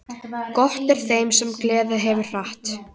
Gott er þeim sem geð hefur glatt.